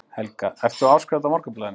Helga: Ert þú áskrifandi að Morgunblaðinu?